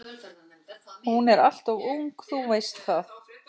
Hún er alltof ung, þú veist það.